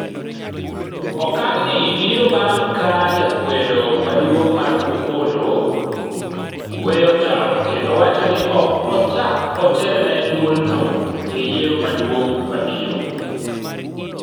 Okang ni biro bang' ka jakwedo maduong' mar Opollo gweyo tao kendo wacho ni ok ochak otelne duolno e yiero maduong' mabiro